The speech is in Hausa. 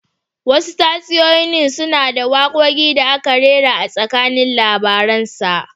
Wasu tatsuniyoyi suna da wakoki da aka rera a tsakanin labarinsa